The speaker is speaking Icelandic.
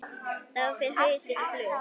Þá fer hausinn á flug.